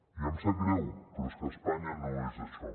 i em sap greu però és que espanya no és això